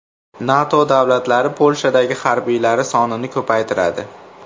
NATO davlatlari Polshadagi harbiylari sonini ko‘paytiradi.